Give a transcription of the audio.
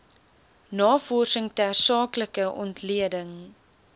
navorsing tersaaklike ontleding